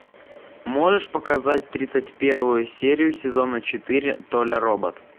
можешь показать тридцать первую серию сезона четыре толя робот